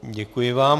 Děkuji vám.